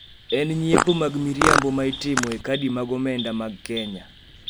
e nyiepo mag miriambo ma itimo e kadi mag omenda mag Kenya,"